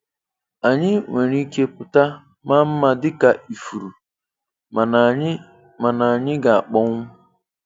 Anyị nwere ike pụta maa mma dị ka ifuru, mana anyị mana anyị ga-akpọnwụ.